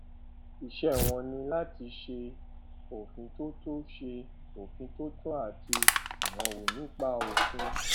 iṣẹ wọn ní láti ṣe òfintótó ṣe òfintótó àti ìrànwọ nípa òfin